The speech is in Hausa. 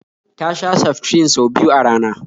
Ta sha seftrin sau biyu a rana